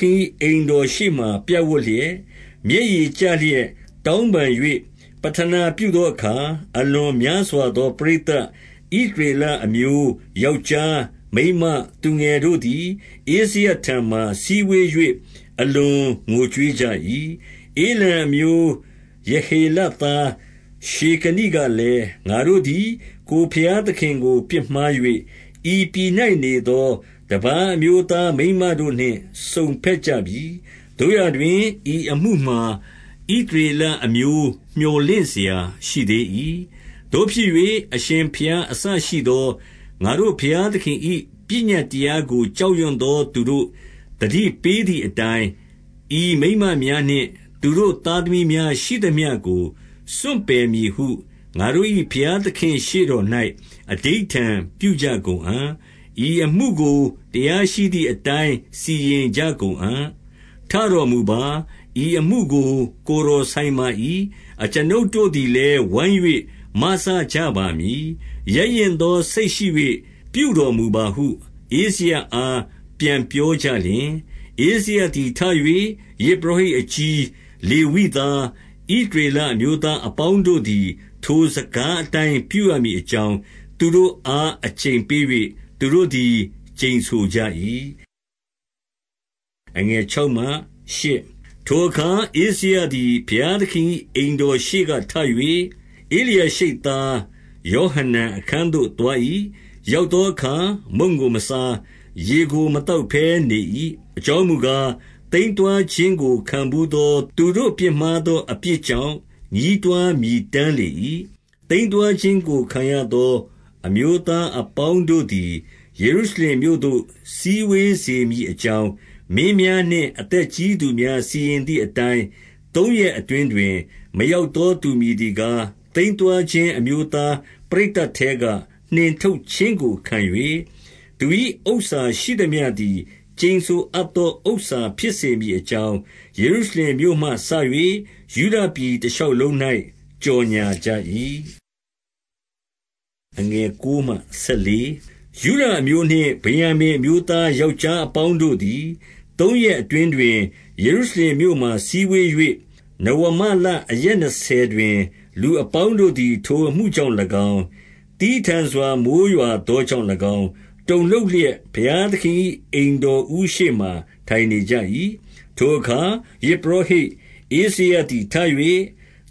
ခင်၏ အိမ်တော်ရှေ့ မှာ ပြပ်ဝပ်လျက်၊ မျက်ရည်ကျလျက် တောင်းပန်၍ ပဌနာပြုသောအခါ၊ အလွန်များစွာသော ပရိသတ်၊ ဣသရေလအမျိုး ယောက်ျား၊ မိန်းမ၊ သူငယ်တို့သည် ဧဇရထံမှာ စည်းဝေး၍ အလွန်ငိုကြွေးကြ၏။ ဧလံအမျိုး၊ ယေဟေလသား ရှေကနိကလည်း၊ ငါတို့သည် ကိုယ်ဘုရားသခင်ကို ပြစ်မှား၍၊ ဤပြည်၌ နေသော တပါးအမျိုးသား မိန်းမတို့နှင့် စုံဘက်ကြပြီ။ သို့ရာတွင် ဤအမှုမှာ ဣသရေလအမျိုး မြော်လင့်စရာ ရှိသေး၏။ သို့ဖြစ်၍ အရှင်ဘုရားအစရှိသော ငါတို့ ဘုရားသခင်၏ ပညတ်တရားကို ကြောက်ရွံ့သောသူတို့ သတိပေးသည်အတိုင်း၊ ဤမိန်းမများနှင့် သူတို့ သား သမီးများရှိသမျှကို စွန့်ပယ်မည်ဟု ငါတို့၏ဘုရားသခင့် ရှေ့တော်၌ အဓိဋ္ဌာန်ပြုကြကုန်အံ့။ ဤအမှုကို တရားရှိသည် အတိုင်း စီရင်ကြကုန်အံ့။ ထတော်မူပါ။ ဤအမှုကို ကိုယ်တော်ဆိုင်ပါ၏။ အကျွန်ုပ်တို့သည်လည်း ဝိုင်း၍မစကြပါမည်။ ရဲရင့်သော စိတ်ရှိ၍ ပြုတော်မူပါဟု ဧဇရအားပြန်ပြောကြလျှင်၊ ဧဇရသည်ထ၍ ယဇ်ပုရောဟိတ်အကြီး၊ လေဝိ သား၊ ဣသရေလအမျိုးသားအပေါင်းတို့သည် ထိုစကား အတိုင်း ပြုရမည်အကြောင်း သူတို့အား အကျိန်ပေး၍ သူတို့သည် ကျိန်ဆိုကြ၏။ ထိုအခါ ဧဇရသည် ဘုရားသခင်၏ အိမ်တော် ရှေ့ကထ၍၊ ဧလျာရှိပ်သားယောဟနန် အခန်းသို့ သွား ၏။ ရောက်သောအခါ မုန့်ကိုမစား၊ ရေကိုမသောက်ဘဲ နေ၏။ အကြောင်းမူကား၊ သိမ်းသွားခြင်းကို ခံဘူးသော သူတို့ပြစ်မှားသော အပြစ်ကြောင့် ညည်းတွားမြည်တမ်း လေ၏။ သိမ်းသွားခြင်းကို ခံရသော အမျိုးသားအပေါင်း တို့သည်၊ ယေရု ရှလင်မြို့သို့ စည်းဝေးစေမည်အကြောင်း၊ မင်းများနှင့် အသက်ကြီးသူများ စီရင်သည် အတိုင်း၊ သုံးရက်အတွင်းတွင် မရောက်သောသူမည်သည် ကား၊ သိမ်းသွားခြင်း အမျိုးသားပရိတ်သတ်ထဲက နှင်ထုတ်ခြင်းကိုခံ၍၊ သူ၏ဥစ္စာ ရှိသမျှသည် ကျိန်ဆို အပ်သောဥစ္စာဖြစ်စေမည်အကြောင်း၊ ယေရုရှလင်မြို့မှ စ၍ ယုဒပြည်တရှောက်လုံး၌ ကြော်ငြာကြ၏။ ယုဒအမျိုးနှင့် ဗင်္ယာမိန်အမျိုးသားယောက်ျား အပေါင်းတို့သည် သုံးရက်အတွင်းတွင်၊ ယေရုရှလင်မြိုးမှာ စည်းဝေး၍ နဝမလအရက်နှစ်ဆယ်တွင်၊ လူအပေါင်းတို့ သည် ထိုအမှုကြောင့်၎င်း၊ သည်းထန်စွာ မိုဃ်းရွာသော ကြောင့်၎င်း၊ တုန်လှုပ်လျက် ဘုရားသခင်၏ အိမ်တော်ဦး ရှေ့မှာ ထိုင်နေကြ၏။ ထိုအခါ ယဇ်ပုရောဟိတ်ဧဇရသည် ထ၍၊